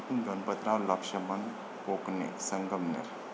Ganpatrao Laxman Kokane, Sangamner